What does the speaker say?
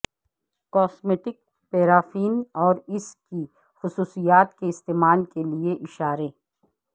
cosmetic paraffin اور اس کی خصوصیات کے استعمال کے لئے اشارے